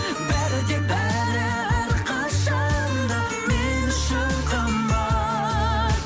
бәрі де бәрі әрқашан да мен үшін қымбат